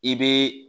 I bɛ